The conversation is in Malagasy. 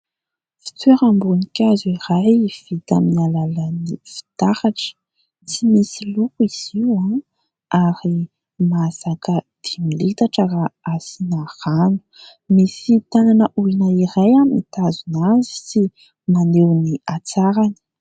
Fitoeram-boninkazo iray vita amin'ny alalan'ny fitaratra. Tsy misy loko izy io ary mahazaka dimy litatra raha asina rano. Misy tananan'olona iray mitazona azy sy maneo ny atsarany.